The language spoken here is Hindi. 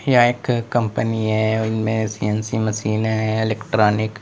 यह एक कंपनी है और इनमें मशीनें हैं इलेक्ट्रॉनिक --